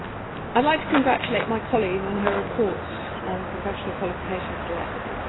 would like to congratulate my colleague on her report on the professional qualifications directive